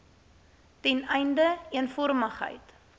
ten einde eenvormigheid